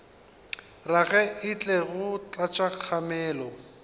rage e tlo tlatša kgamelo